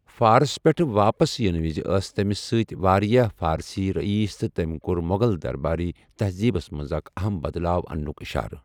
فارس پٮ۪ٹھ واپس یِنہٕ وز ٲس تٔمِس سۭتۍ واریاہ فارسی رئیس تہٕ تٔمۍ کوٚر مُغل دربٲرۍ تہزیبس منٛز اکھ اہم بَدلاو اَننُک اِشارٕ۔